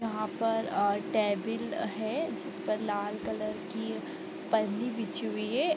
यहाँ पर अ टेबिल है जिस पर लाल कलर की पन्नी बिछी हुई है ।